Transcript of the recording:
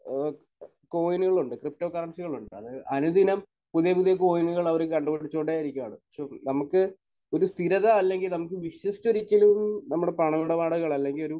ഏഹ് കോയിനുകളുണ്ട്. ക്രിപ്റ്റോ കറൻസികളുണ്ട്. അത് അനുദിനം പുതിയ പുതിയ കോയിനുകൾ അവർ കണ്ട് പിടിച്ചുകൊണ്ടേ ഇരിക്കുകയാണ്. റ്റു നമുക്ക് ഒരു സ്ഥിരത അല്ലെങ്കിൽ നമുക്ക് വിശ്വസിച്ചൊരു നമ്മുടെ പണമിടപാടുകൾ അല്ലെങ്കിൽ ഒരു